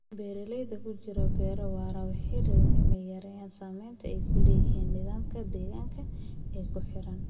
Beeralayda ku jira beero waara waxay rabeen inay yareeyaan saamaynta ay ku leeyihiin nidaamka deegaanka ee ku xeeran